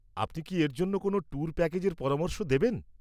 আপনি কি এর জন্য কোনও ট্যুর প্যাকেজের পরামর্শ দেবেন?